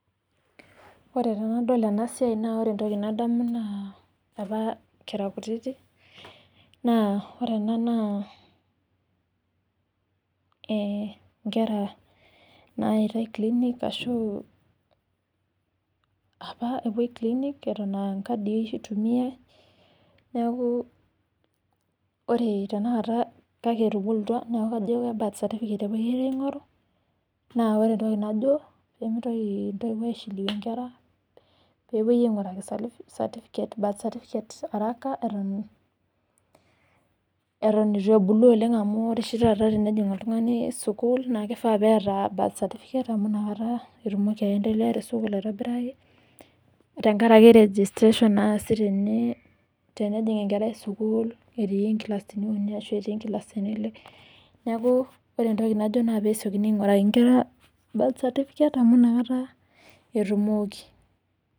Ore tenadol ena siai naa ore entoki nadamu opa kera kutiti naa ore ena naa inkera nayaitai clinic ashu apa epwoi clinic eton aa nkadii eitumiae. Neeku ore tenakata kake etubukutwa neeku kajo birth certificate opa kepwoita aing'oru. Naa ore entoki najo piimintoki aishiliwayie inkera, peepwoi aing'uraki certificate , birth certificate haraka eton etu ebulu oleng amu ore oshi taata tenejing' oltung'ani sukuul naa kifaa neeta birth certificate amu inakata etumkoki aendelea te sukuul aitobiraki tenkaraki registration naasi tene tenejing' enkerai sukuul etii nkilasini uni ashu etii nkilasini ile. Neeku ore entoki najo naa peesiokini aing'uraki inkera birth certificate amu inakata etumoki